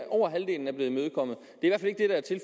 over halvdelen er blevet imødekommet